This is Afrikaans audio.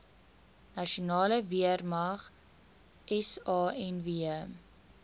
nasionale weermag sanw